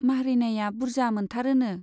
माह्रैनाया बुर्जा मोनथारोनो।